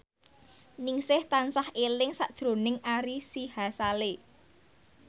Ningsih tansah eling sakjroning Ari Sihasale